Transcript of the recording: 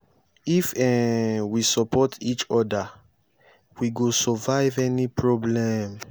if um we support each oda we go survive any problem.